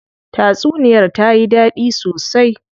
Tatsuniyar tayi dadi sosai.